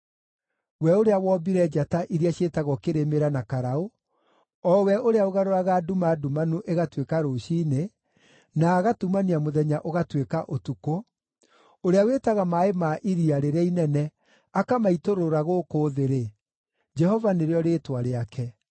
(we ũrĩa wombire njata iria ciĩtagwo Kĩrĩmĩra na Karaũ, o we ũrĩa ũgarũraga nduma ndumanu ĩgatuĩka rũciinĩ, na agatumania mũthenya ũgatuĩka ũtukũ, ũrĩa wĩtaga maaĩ ma iria rĩrĩa inene akamaitũrũra gũkũ thĩ-rĩ: Jehova nĩrĩo rĩĩtwa rĩake;